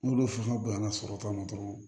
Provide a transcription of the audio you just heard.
N'olu fasugu banna sɔrɔ ta ma dɔrɔn